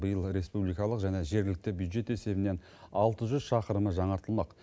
биыл республикалық және жергілікті бюджет есебінен алты жүз шақырымы жаңартылмақ